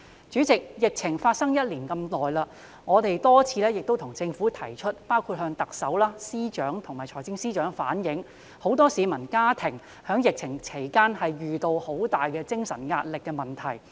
在這一段長時間，我們多次向政府包括向特首、政務司司長和財政司司長反映，很多市民和家庭在疫情期間遇到很大的精神壓力問題。